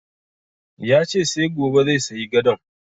Ya ce sai gobe zai sayi gadon